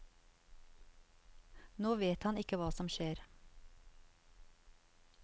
Nå vet han ikke hva som skjer.